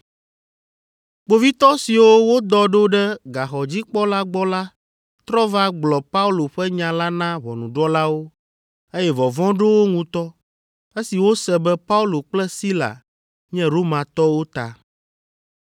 Kpovitɔ siwo wodɔ ɖo ɖe gaxɔdzikpɔla gbɔ la trɔ va gblɔ Paulo ƒe nya la na ʋɔnudrɔ̃lawo, eye vɔvɔ̃ ɖo wo ŋutɔ esi wose be Paulo kple Sila nye Romatɔwo ta.